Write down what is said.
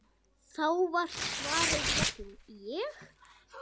Þá var svarið jafnan: Ég?!